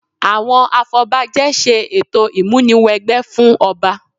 Àwọn afọbajẹ ṣe ètò ìmúni wẹgbẹ́ fún ọba